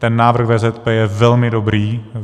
Ten návrh VZP je velmi dobrý.